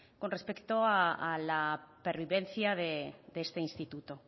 con respecto a la pervivencia de este instituto